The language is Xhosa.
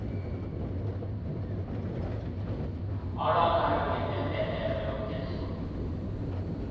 olwakhayo ngempembelelo yomphezulu